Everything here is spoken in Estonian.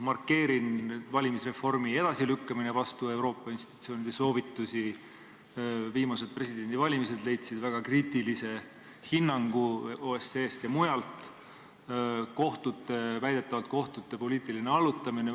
Markeerin: valimisreformi edasilükkamine vastupidi Euroopa institutsioonide soovitustele, viimased presidendivalimised said väga kriitilise hinnangu OSCE-st ja mujalt, väidetavalt kohtute poliitiline allutamine.